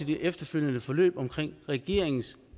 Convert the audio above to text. det efterfølgende forløb om regeringens